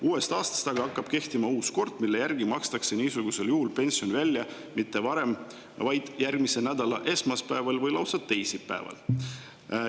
Uuest aastast aga hakkab kehtima uus kord, mille järgi makstakse niisugusel juhul pension välja mitte varem, vaid järgmise nädala esmaspäeval või lausa teisipäeval.